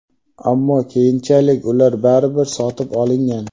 ammo keyinchalik ular baribir sotib olingan.